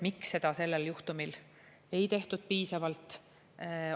Miks seda selle juhtumi puhul ei tehtud piisavalt?